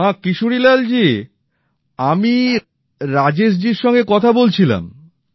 হ্যা কিশোরীলাল জি আমি রাজেশ জির সঙ্গে কথা বলছিলাম